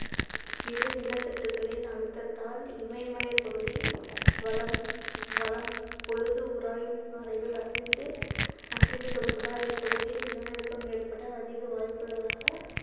இரு நிலத்தட்டுக்களின் அழுத்தத்தால் இமயமலைப் பகுதி வலம் வலம் பொழுது உராயும் பாறைகள் அசைந்து அசைந்து கொடுப்பதால் இப்பகுதி நிலநடுக்கம் ஏற்பட அதிக வாய்ப்புள்ளதாக